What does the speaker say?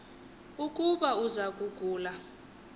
ukuba uza kugula